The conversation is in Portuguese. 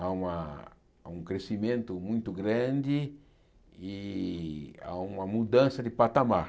Há umaa há um crescimento muito grande e há uma mudança de patamar.